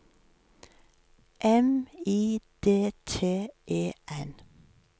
M I D T E N